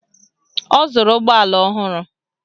Ọ zụrụ ụgbọala ọhụrụ